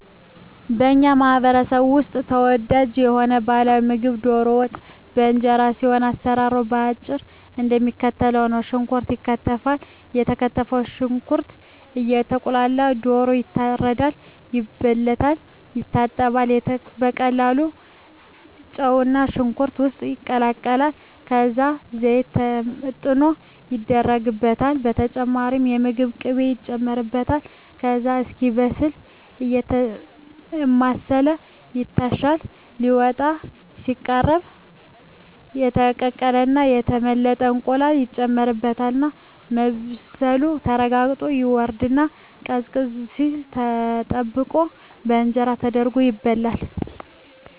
በኛ ማህበረሰብ ውስጥ ተወዳጅ የሆነው ባህላዊ ምግብ ደሮ ወጥ በእንጀራ ሲሆን አሰራሩም በአጭሩ እደሚከተለው ነው። ሽንኩርት ይከተፋል የተከተፈው ሽንኩርት እየቁላላ ደሮ ይታረዳል፣ ይበለታል፣ ይታጠባል፣ ከተቁላላው ጨውና ሽንኩርት ውስጥ ይቀላቀላል ከዛ ዘይት ተመጥኖ ይደረግበታል በተጨማሪም የምግብ ቅቤ ይጨመርበታል ከዛ እስኪበስል አየተማሰለ ይታሻል ሊወጣ ሲቃረብ የተቀቀለና የተመለጠ እንቁላል ይጨመርበትና መብሰሉ ተረጋግጦ ይወርድና ቀዝቀዝ ሲል ተጠብቆ በእንጀራ ተደርጎ ይበላል።